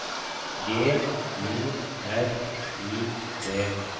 G U R I D